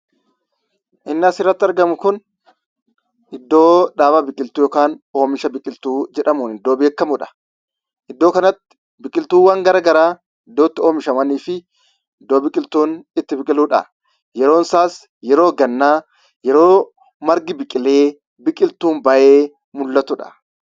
Inni asirratti argamu kun iddoo dhaaba biqiltuu yookaan oomisha biqiltuu jedhamuun iddoo beekamudha. Iddoo kanatti biqiltuuwwan garagaraa iddootti oomishamanii fi iddoo biqiltuun itti biqiludha. Yeroonsaas yeroo gannaa yeroo margi biqilee biqiltuun ba'ee mul'atudha.